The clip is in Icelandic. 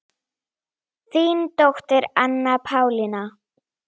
Þín dóttir Anna Pálína.